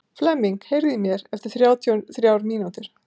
Flemming, heyrðu í mér eftir þrjátíu og þrjár mínútur.